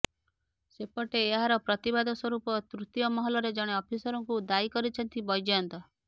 ସେପଟେ ଏହାର ପ୍ରତିବାଦ ସ୍ବରୂପ ତୄତୀୟ ମହଲାରେ ଜଣେ ଅଫିସରଙ୍କୁ ଦାୟୀ କରିଛନ୍ତି ବୈଜୟନ୍ତ